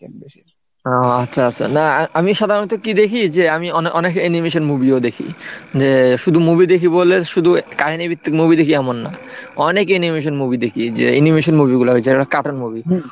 ও আচ্ছা আচ্ছা না আমি সাধারণত কি দেখি যে আমি অনেক অনেক animation movie ও দেখি যে শুধু movie দেখি বলে শুধু কাহিনী ভিত্তিক movie দেখি এমন না। অনেক animation movie দেখি যে animation movie গুলো হয়েছে যে cartoon movie।